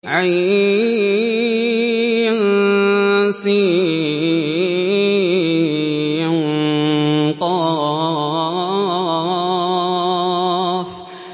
عسق